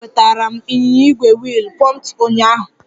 M nnọọ nwetara m ịnyịnya ígwè wiil pumped ụnyaahụ